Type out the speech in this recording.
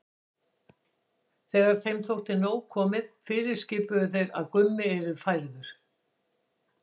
Þegar þeim þótti nóg komið fyrirskipuðu þeir að Gummi yrði færður.